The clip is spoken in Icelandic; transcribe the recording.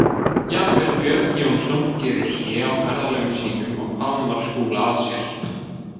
Jafnvel Björn Jónsson gerir hlé á ferðalögum sínum og faðmar Skúla að sér.